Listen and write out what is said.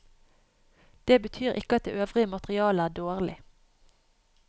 Det betyr ikke at det øvrige materialet er dårlig.